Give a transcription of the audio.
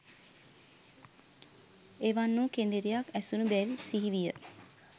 එවන් වූ කෙඳිරියක් ඇසුනු බැව් සිහි විය.